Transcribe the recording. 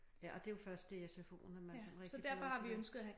Ja og det jo først i sfo'en at man sådan rigtig får lov til det